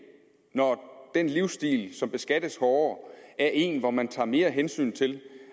når den livsstil som beskattes hårdere er en hvor man tager mere hensyn til